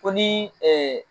Ko ni ee